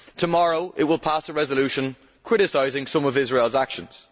Tomorrow it will pass a resolution criticising some of Israel's actions.